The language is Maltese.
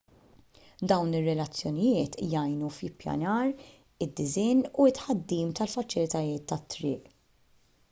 dawn ir-relazzjonijiet jgħinu fl-ippjanar id-disinn u t-tħaddim tal-faċilitajiet tat-triq